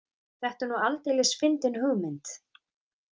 Þetta er nú aldeilis fyndin hugmynd.